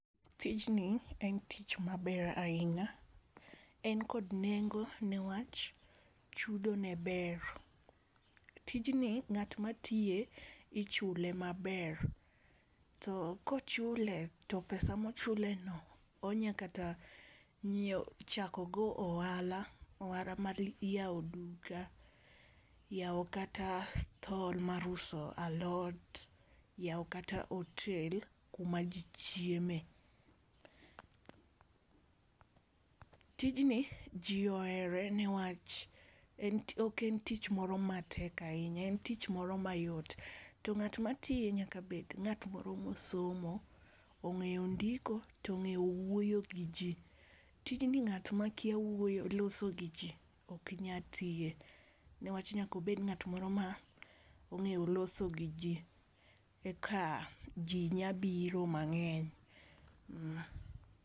Tijni en tich ma ber ahinya en kod nengo ne wach chudo ne ber, tijni ng'at ma tiye ichulo ma ber. To ko ochule to pesa ma ochule no onyalo chako go ohala, ohala mar yawo duka, ohala mar yawo kata stall mar uso alot yawo kata hotel ku ma ji chieme. Tijni ji ohere niwach ok en tich moro ma tek ahinya, en tich moro ma yot to ng'at ma tiye nyaka bed ngat moro ma osomo, ong'eyo ndiko to ong'eyo wuoyo gi ji, tijni ng'at ma kia wuoyo loso gi ji ok nyal tiye ne wach nyaka obed ng'at moro ma ong'eyo loso gi ji e ka ji nya biro mang'eny.